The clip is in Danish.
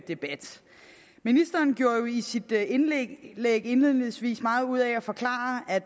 debat ministeren gjorde jo i sit indlæg indledningsvis meget ud af at forklare at